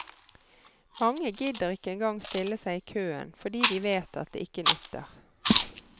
Mange gidder ikke engang stille seg i køen, fordi de vet at det ikke nytter.